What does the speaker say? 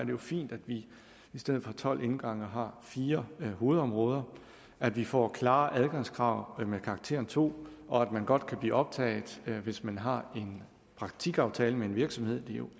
jo fint at vi i stedet for tolv indgange har fire hovedområder at vi får klarere adgangskrav med karakteren to og at man godt kan blive optaget hvis man har en praktikaftale med en virksomhed det er jo